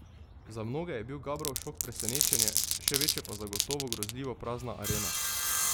Za mnoge je bil Gabrov šok presenečenje, še večje pa zagotovo grozljivo prazna Arena.